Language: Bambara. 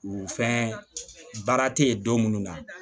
U fɛn baara tɛ ye don minnu na